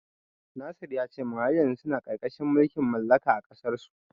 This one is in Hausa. Nasir ya ce min har yanzu suna ƙarƙashin mulkin mallaka a ƙasarsu.